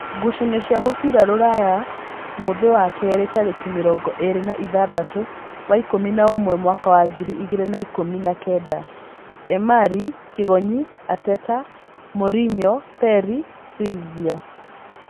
Ngucanio cia mũbira Rūraya mũũthĩ wa keerĩ tarĩki mĩrongo ĩrĩ na ithathatũ wa ikumi na ũmwe mwaka wa ngiri igĩrĩ na ikũmi na kenda: Emari, Kĩgonyi, Ateta, Morinyo, Peri, Silvia,